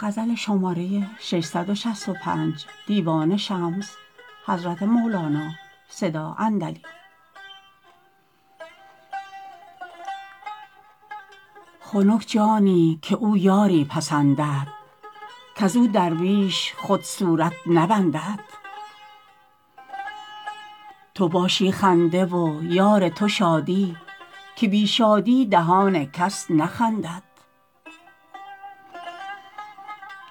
خنک جانی که او یاری پسندد کز او دوریش خود صورت نبندد تو باشی خنده و یار تو شادی که بی شادی دهان کس نخندد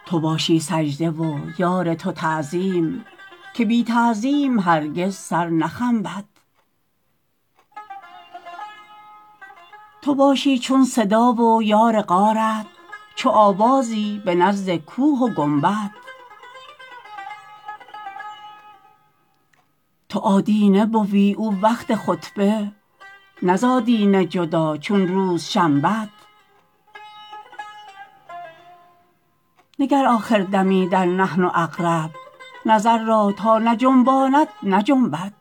تو باشی سجده و یار تو تعظیم که بی تعظیم هرگز سر نخنبد تو باشی چون صدا و یار غارت چو آوازی به نزد کوه و گنبد تو آدینه بوی او وقت خطبه نه ز آدینه جدا چون روز شنبد نگر آخر دمی در نحن اقرب نظر را تا نجنباند نجنبد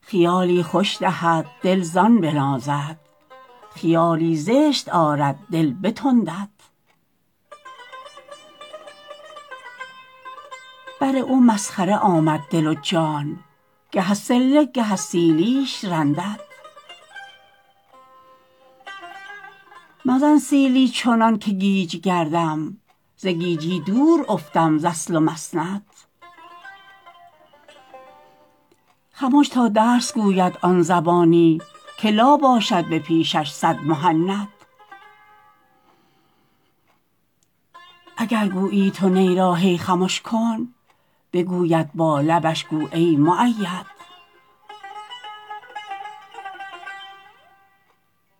خیالی خوش دهد دل زان بنازد خیالی زشت آرد دل بتندد بر او مسخره آمد دل و جان گه از صله گه از سیلیش رندد مزن سیلی چنانک گیج گردم ز گیجی دور افتم ز اصل و مسند خمش تا درس گوید آن زبانی که لا باشد به پیشش صد مهند اگر گویی تو نی را هی خمش کن بگوید با لبش گو ای مؤید